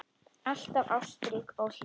Alltaf ástrík og hlý.